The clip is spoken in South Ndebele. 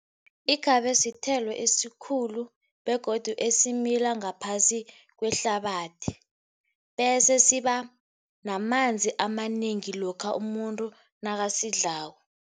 Ikhabe sithelo esikhulu begodu esimila ngaphasi kwehlabathi. Bese siba namanzi amanengi lokha umuntu nakasidlako.